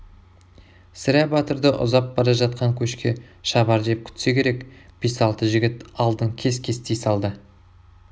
сірә батырды ұзап бара жатқан көшке шабар деп күтсе керек бес-алты жігіт алдын кес-кестей салды